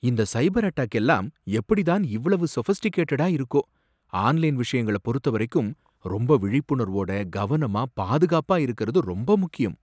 இந்த cyber attack எல்லாம் எப்புடி தான் இவ்வளவு சோஃபிஸ்டிகேட்டடா இருக்கோ. ஆன்லைன் விஷயங்கள பொருத்தவரைக்கும் ரொம்ப விழிப்புணர்வோட, கவனமா பாதுகாப்பா இருக்கறது ரொம்ப முக்கியம்.